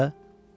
A də.